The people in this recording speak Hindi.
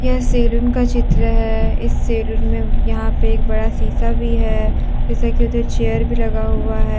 यह सैलून का चित्र है इस सैलून में यहां पे एक बड़ा शीशा भी है शीशा के इधर चेयर भी लगा हुआ है।